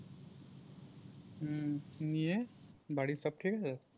হুম নিয়ে বাড়ির সব ঠিক আছে?